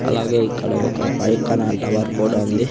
అలాగే ఇక్కడ ఒక బైక్ టవర్ కూడా ఉంది.